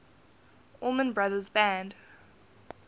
allman brothers band